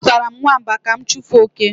Azụtara m nwamba ka m chụpụ oke